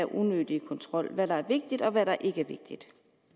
unødig kontrol hvad er vigtigt og hvad er ikke vigtigt